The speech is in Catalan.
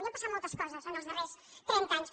i han passat moltes coses en els darrers trenta anys